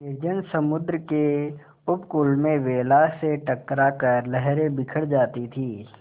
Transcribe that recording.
निर्जन समुद्र के उपकूल में वेला से टकरा कर लहरें बिखर जाती थीं